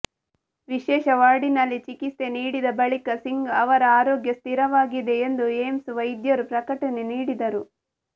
ವಿಶೇಷ ವಾರ್ಡಿನಲ್ಲಿ ಚಿಕಿತ್ಸೆ ನೀಡಿದ ಬಳಿಕ ಸಿಂಗ್ ಅವರ ಆರೋಗ್ಯ ಸ್ಥಿರವಾಗಿದೆ ಎಂದು ಏಮ್ಸ್ ವೈದ್ಯರು ಪ್ರಕಟಣೆ ನೀಡಿದ್ದರು